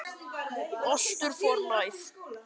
Við spurðum Dóru Maríu út í Landsbankadeildina í ár.